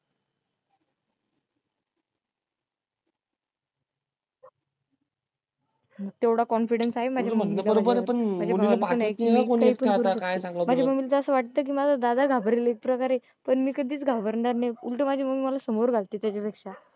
तेवढा confidence आहे माझ्या मधे माझ्या mummy ला तर अस वाट कि माजा दादा घाबरेल इतकं जरी पण मी कधीच घाबरणार नाही उलट माजी mummy मला समोर ताच्यापेक्षा